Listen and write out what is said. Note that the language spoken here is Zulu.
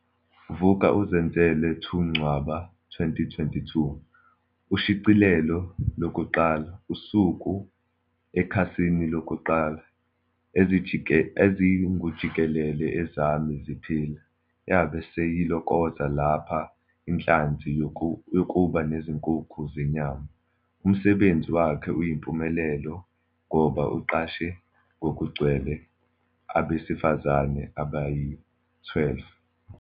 Vuk'uzenzele 2 Ncwaba 2022. Ushicilelo 1. Isuka ekhasini loku-1. EZINGUJIKELELE ezami ziphila. Yabe seyilokoza lapho inhlansi yokuba nezinkukhu zenyama. Umsebenzi wakhe uyimpumelelo ngoba uqashe ngokugcwele abesifazane abayi-12.